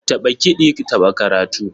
Taɓa kiɗi taɓa karatu